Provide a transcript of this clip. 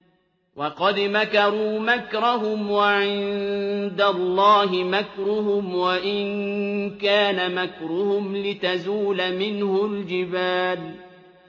وَقَدْ مَكَرُوا مَكْرَهُمْ وَعِندَ اللَّهِ مَكْرُهُمْ وَإِن كَانَ مَكْرُهُمْ لِتَزُولَ مِنْهُ الْجِبَالُ